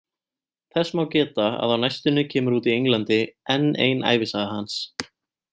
Þess má geta að á næstunni kemur út í Englandi enn ein ævisaga hans.